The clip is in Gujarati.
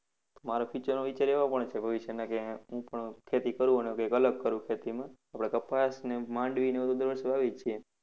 મારો future એવો પણ છે કે ભવિષ્યમાં કે હું પણ ખેતી કરું અને કંઈક અલગ કરું ખેતીમાં. આપણે કપાસને, મંડાવી એવું દર વર્ષે વાવીએ જ છીએ.